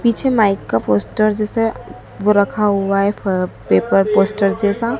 पीछे माइक का पोस्टर जैसे रखा हुआ है पेपर पोस्टर जैसा--